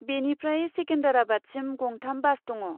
बेनिफ्राय सेकेन्दराबादसिम गं थाम बास दङ।